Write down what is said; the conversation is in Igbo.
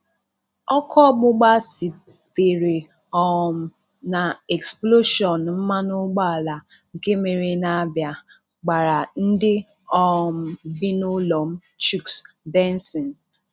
Ọkụ ọgbụgba sitere um na eksploshọnụ mmanụ ụgbọala nke mere n'Abia, gbara ndị um bi n'ụlọ m - Chuks Benson